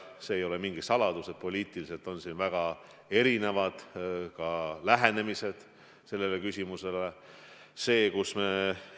See ei ole mingi saladus, et poliitiliselt lähenetakse sellele küsimusele väga erinevalt.